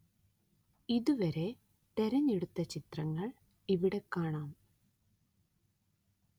ഇതുവരെ തിരഞ്ഞെടുത്ത ചിത്രങ്ങള്‍ ഇവിടെ കാണാം